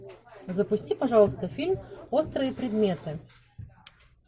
запусти пожалуйста фильм острые предметы